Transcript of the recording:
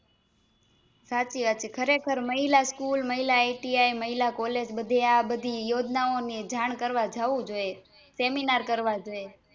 સાચી વાત છે ખરેખર મહિલા School મહિલા ATM મહિલા College આ બધે યોજના ઓં ની જાણ કરવા જાવું જોઈએ સેમીનાર કરવા જોઈએ